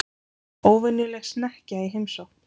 Óvenjuleg snekkja í heimsókn